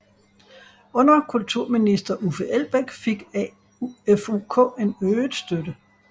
Under kulturminister Uffe Elbæk fik AFUK en øget støtte